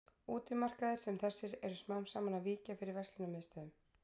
Útimarkaðir sem þessi eru smám saman að víkja fyrir verslunarmiðstöðvum.